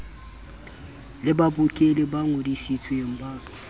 le babokelli ba ngodisitsweng ba